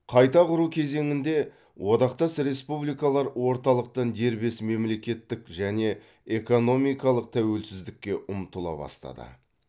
қайта құру кезеңінде одақтас республикалар орталықтан дербес мемлекеттік және экономикалық тәуелсіздікке ұмтыла бастады